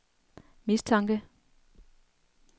mistanke